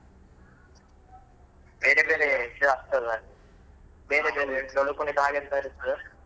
ಬೇರೆ ಬೇರೇ ಆಗ್ತದ ಬೇರೆ ಬೇರೆ ಡೊಳ್ಳು ಕುಣಿತ ಹಾಗೆಂತದ್ರು ಇರ್ತದಾ.